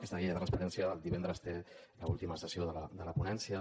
aquesta llei de la transparència el divendres té l’última sessió de la ponència